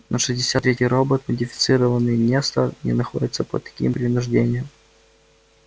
но шестьдесят третий робот модифицированный нестор не находится под таким принуждением